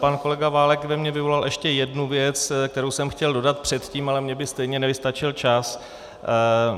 Pan kolega Válek ve mně vyvolal ještě jednu věc, kterou jsem chtěl dodat předtím, ale mně by stejně nevystačil čas.